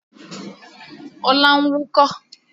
Ọlá ń wúkọ́